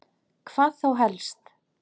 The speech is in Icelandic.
Hvað þá helst?